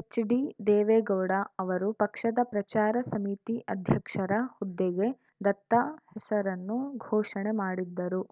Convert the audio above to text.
ಎಚ್‌ಡಿದೇವೇಗೌಡ ಅವರು ಪಕ್ಷದ ಪ್ರಚಾರ ಸಮಿತಿ ಅಧ್ಯಕ್ಷರ ಹುದ್ದೆಗೆ ದತ್ತ ಹೆಸರನ್ನು ಘೋಷಣೆ ಮಾಡಿದ್ದರು